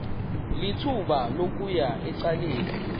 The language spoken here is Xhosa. lithuba lokuya ecaleni